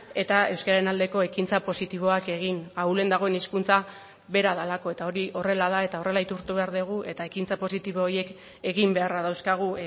eta euskararen aldeko ekintza positiboak egin ahulen dagoen hizkuntza bera delako eta hori horrela da eta horrela aitortu behar dugu eta ekintza positibo horiek egin beharra dauzkagu